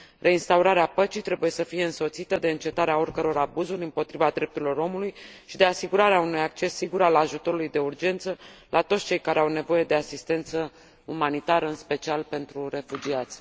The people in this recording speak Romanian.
Reinstaurarea păcii trebuie să fie însoțită de încetarea oricăror abuzuri împotriva drepturilor omului și de asigurarea unui acces sigur al ajutorului de urgență la toți cei care au nevoie de asistență umanitară, în special pentru refugiați.